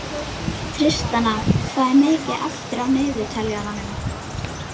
Ég ber hana sjálfa fyrir því.